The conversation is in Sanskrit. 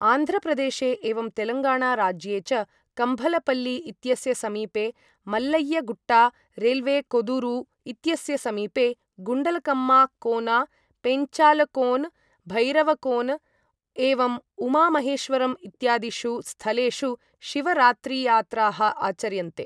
आन्ध्रप्रदेशे एवं तेलङ्गाणा राज्ये च कम्भलपल्लि इत्यस्य समीपे मल्लय्य गुट्टा, रेलवे कोदुरु इत्यस्य समीपे गुंडलकम्मा कोना, पेंचालकोन, भैरवकोन, एवं उमा महेश्वरम् इत्यादिषु स्थलेषु शिवरात्रियात्राः आचर्यन्ते।